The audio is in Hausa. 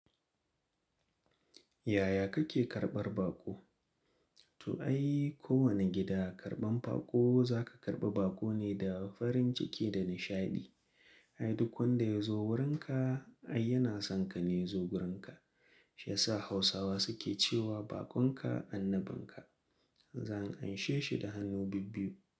Yaya kake karɓar baƙo? To ai kowane gida karban baƙo za ka karɓi baƙo ne da farin ciki da nishaɗi. Ai duk wanda ya zo wurinka, ai yana son ka ne ya zo wurinka. Shi yasa Hausawa suke cewa bakonka annabinka. Zan anshe shi da hannu bibbiu.